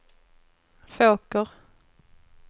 Fåker